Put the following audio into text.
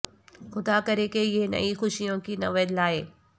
خدا کرے کہ یہ نئی خوشیوں کی نوید لائے